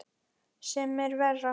Sem er verra.